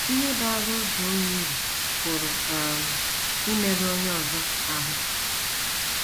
Ihe baara otu onye uru pụrụ um imerụ onye ọzọ ahụ́.